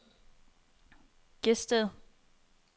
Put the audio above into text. Gedsted